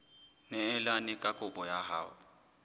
neelane ka kopo ya hao